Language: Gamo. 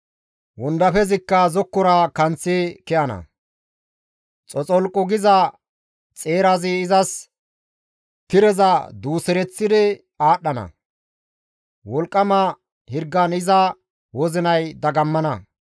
Wondafezikka zokkaara kanththi ke7ana; xoxolqu giza xeerazi izas tireza duusereththidi aadhdhana; wolqqama hirgan iza wozinay dagammana.